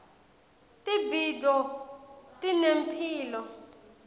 tibhidvo tinemphilo